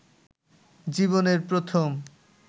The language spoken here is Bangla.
জীবনের প্রথম